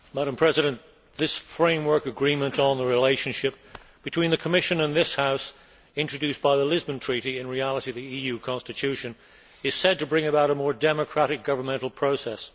Madam President, this framework agreement on the relationship between the Commission and this House introduced by the Lisbon Treaty in reality, the EU Constitution is said to bring about a more democratic governmental process.